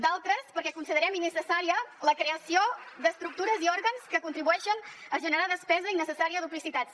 d’altres perquè considerem innecessària la creació d’estructures i òrgans que contribueixen a generar despesa innecessària i duplicitats